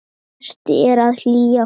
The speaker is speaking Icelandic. Best er að hylja húðina.